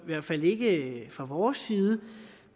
i hvert fald ikke fra vores side